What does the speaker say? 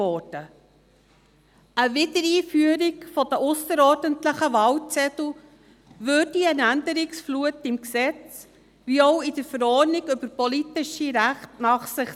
Eine Wiedereinführung der ausserordentlichen Wahlzettel zöge sowohl eine Änderungsflut im Gesetz über die politischen Rechte (PRG) als auch in der Verordnung über die politischen Rechte (PRV) nach sich.